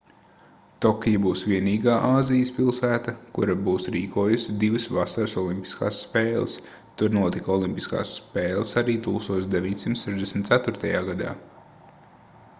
tokija būs vienīgā āzijas pilsēta kura būs rīkojusi divas vasaras olimpiskās spēles tur notika olimpiskās spēles arī 1964. gadā